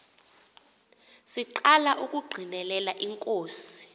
siqala ukungqinela inkosi